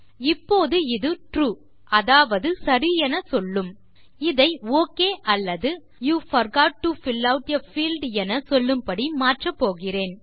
இப்போது இது ட்ரூ அதாவது சரி என சொல்லும் இதை ஒக் அல்லது you forgot to fill out a field என சொல்லும் படி மாற்றப் போகிறேன்